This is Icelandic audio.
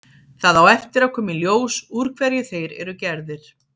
Það á eftir að koma í ljós úr hverju þeir eru gerðir.